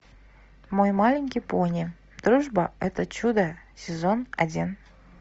мой маленький пони дружба это чудо сезон один